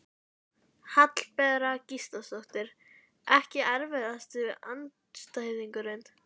Hallbera Gísladóttir Ekki erfiðasti andstæðingur?